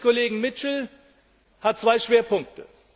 Der Bericht des Kollegen Mitchell hat zwei Schwerpunkte.